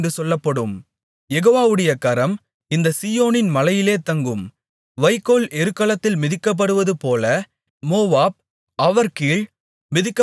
யெகோவாவுடைய கரம் இந்த சீயோனின் மலையிலே தங்கும் வைக்கோல் எருக்களத்தில் மிதிக்கப்படுவதுபோல மோவாப் அவர்கீழ் மிதிக்கப்பட்டுப்போகும்